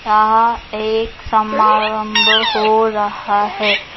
यहाँ एक समारंभ हो रहा है ।